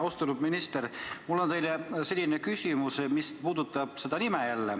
Austatud minister, mul on teile küsimus, mis puudutab ka seda nime.